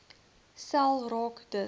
sel raak dus